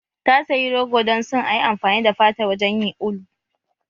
Ta sayi rogo dan son ayi amfani da fatar wajen yin ulu